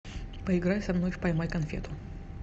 поиграй со мной в поймай конфету